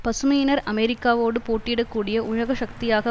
பசுமையினர் அமெரிக்காவோடு போட்டியிடக்கூடிய உலக சக்தியாக